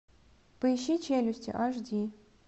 поищи челюсти аш ди